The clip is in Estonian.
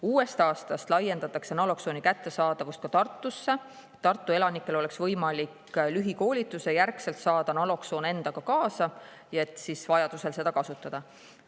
Uuest aastast laiendatakse naloksooni kättesaadavust ka Tartusse, et Tartu elanikel oleks võimalik pärast lühikoolitust saada naloksoon endaga kaasa ja vajadusel seda kasutada.